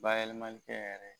Bayɛlɛmali tɛ yɛrɛ.